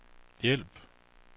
hjælp